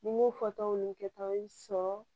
Ni n m'o fɔ tɔw ni kɛtaw sɔrɔ